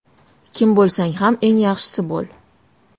Kim bo‘lsang ham eng yaxshisi bo‘l!